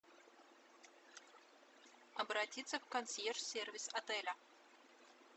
обратиться в консьерж сервис отеля